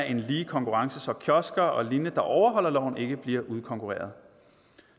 en lige konkurrence så kiosker og lignende der overholder loven ikke bliver udkonkurreret